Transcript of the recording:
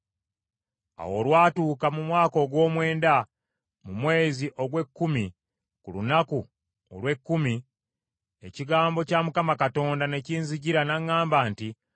Awo olwatuuka mu mwaka ogw’omwenda, mu mwezi ogw’ekkumi ku lunaku olw’ekkumi, ekigambo kya Mukama Katonda ne kinzijira n’aŋŋamba nti,